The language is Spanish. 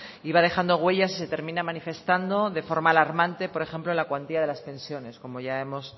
y va dejando huellas y se termina manifestando de forma alarmante por ejemplo en la cuantía de las pensiones como ya hemos